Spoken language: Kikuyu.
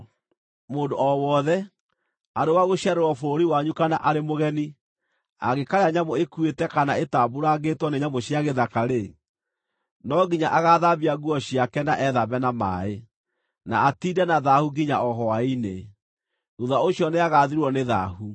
“ ‘Mũndũ o wothe, arĩ wa gũciarĩrwo bũrũri wanyu kana arĩ mũgeni, angĩkaarĩa nyamũ ĩkuĩte kana ĩtambuurangĩtwo nĩ nyamũ cia gĩthaka-rĩ, no nginya agaathambia nguo ciake na ethambe na maaĩ, na atiinde na thaahu nginya o hwaĩ-inĩ; thuutha ũcio nĩagathirwo nĩ thaahu.